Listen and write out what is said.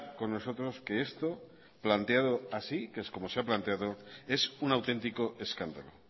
con nosotros que esto planteado así que es como se ha planteado es un auténtico escándalo